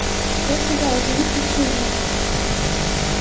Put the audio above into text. я сказал зовите дежурного